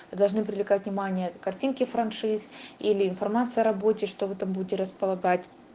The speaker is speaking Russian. должны привлекать внимание картинки франшиз или информация о работе что вы там будете располагать